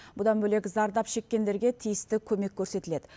бұдан бөлек зардап шеккендерге тиісті көмек көрсетіледі